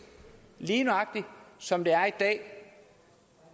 lige nøjagtig som der er i dag